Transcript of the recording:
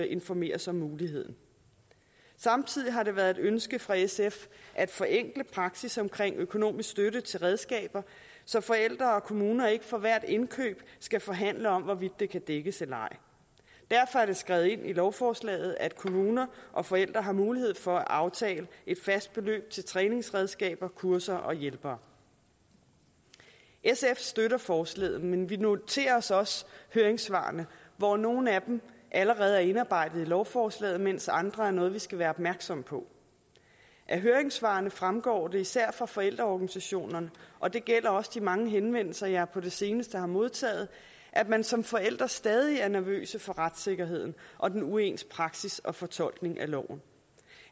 informeres om muligheden samtidig har det været et ønske fra sf at forenkle praksis omkring økonomisk støtte til redskaber så forældre og kommuner ikke for hvert indkøb skal forhandle om hvorvidt det kan dækkes eller ej derfor er det skrevet ind i lovforslaget at kommuner og forældre har mulighed for at aftale et fast beløb til træningsredskaber kurser og hjælpere sf støtter forslaget men vi noterer os også høringssvarene hvoraf nogle af dem allerede er indarbejdet i lovforslaget mens andre er noget vi skal være opmærksomme på af høringssvarene fremgår det især fra forældreorganisationerne og det gælder også de mange henvendelser jeg på det seneste har modtaget at man som forældre stadig er nervøse for retssikkerheden og den uens praksis og fortolkning af loven